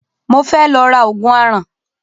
Mo fẹ́ lọ ra Ògùn aràn